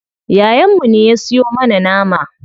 Yayan mu ne ya siyo mana nama.